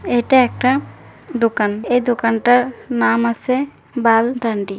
এটা একটা দোকান । এ দোকানটার ] নাম আসে বাল দান্ডি--